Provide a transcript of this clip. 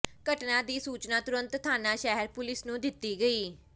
ਘਟਨਾ ਦੀ ਸੂਚਨਾ ਤੁਰੰਤ ਥਾਣਾ ਸ਼ਹਿਰ ਪੁਲੀਸ ਨੂੰ ਦਿੱਤੀ ਗਈ